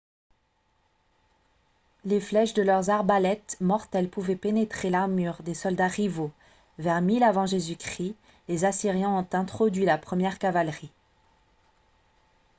les flèches de leurs arbalètes mortelles pouvaient pénétrer l'armure des soldats rivaux. vers 1000 avant j.-c. les assyriens ont introduit la première cavalerie